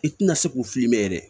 I tina se k'u filimɛ